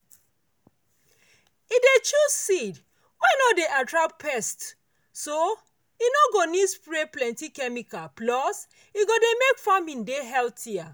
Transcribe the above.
e dey choose seed wey no dey attract pests so e no go need spray plenty chemikal plus e go make farming dey healthier.